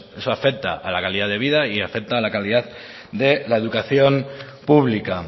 eso afecta a la calidad de vida y afecta a la calidad de la educación pública